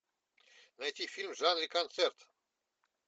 найти фильм в жанре концерт